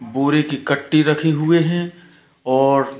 बोरे के कट्टे रखे हुए हैं और--